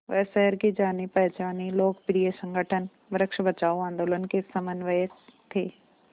वह शहर के जानेपहचाने लोकप्रिय संगठन वृक्ष बचाओ आंदोलन के समन्वयक थे